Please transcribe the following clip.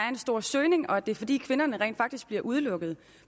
en stor søgning og at det er fordi kvinderne rent faktisk bliver udelukket